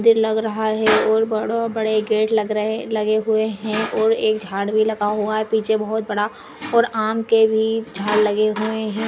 मंदिर लग रहा हैं और बडा बड़े गेट लग रहे लगे हुए हैं और एक झाड़ भी लगा हुआ हैं पीछे एक बहुत बड़ा और आम के भी झाडं लगे हुए हैं।